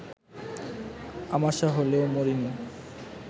আমাশা হলেও, মরিনি